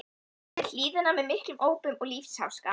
niður hlíðina með miklum ópum og lífsháska.